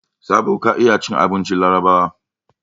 Sabo ka iya cin abincin Larabawa?